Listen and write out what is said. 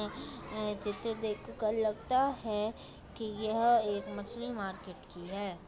अ जिचे देख कल लगता है की यह एक मछली मार्केट की हे।